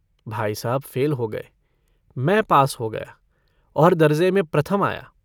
भाई साहब फ़ेल हो गए। मै पास हो गया और दर्जे में प्रथम आया।